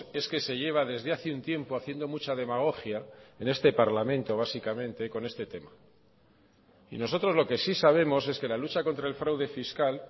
es que se lleva desde hace un tiempo haciendo mucha demagogia en este parlamento básicamente con este tema y nosotros lo que sí sabemos es que la lucha contra el fraude fiscal